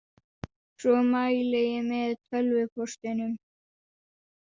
Svo mæli ég með tölvupóstinum.